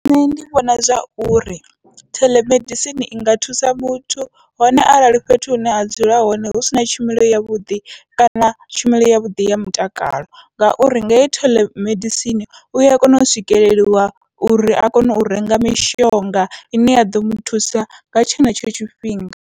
Nṋe ndi vhona zwauri theḽemedisini inga thusa muthu, hone arali fhethu hune a dzula hone hu sina tshumelo yavhuḓi kana tshumelo yavhuḓi ya mutakalo, ngauri nga hei theḽemedisini ua kona u swikeleliwa uri a kone u renga mishonga ine ya ḓo muthusa nga tshenetsho tshifhinga.